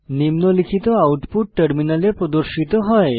নিম্নলিখিত আউটপুট টার্মিনালে প্রদর্শিত হয়